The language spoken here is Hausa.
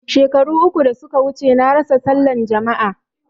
Shekaru uku da suka wuce na rasa sallan jama'a